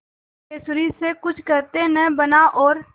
सिद्धेश्वरी से कुछ कहते न बना और